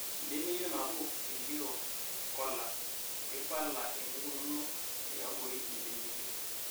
Embeneyio naboo elioo kolar (keibala eneikununo tiabori embeneyio ).